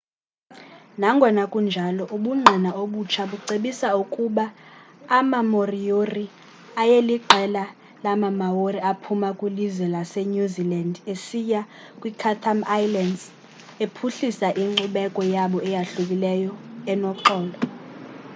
nangona kunjalo ubungqina obutsha bucebisa ukuba amamoriori ayeliqela lamamaori aphuma kwilizwe lasenew zealand esiya kwiichatham islands ephuhlisa inkcubeko yabo eyahlukileyo enoxolo